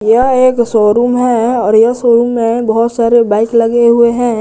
यह एक शोरूम है और यह शोरूम में बहुत सारे बाइक लगे हुए है।